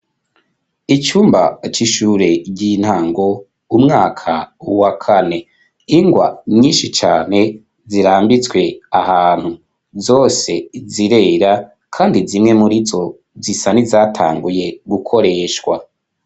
Icumba c'ishure ry'intango umwaka wa kane ingwa nyinshi cane zirambitswe ahantu zose zirera kandi zimwe muri zo zisa nizatanguye gukoreshwa.